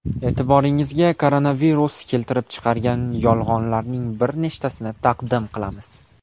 E’tiboringizga koronavirus keltirib chiqargan yolg‘onlarning bir nechtasini taqdim qilamiz.